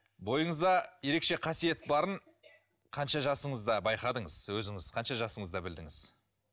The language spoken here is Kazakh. бойыңызда ерекше қасиет барын қанша жасыңызда байқадыңыз өзіңіз қанша жасыңызда білдіңіз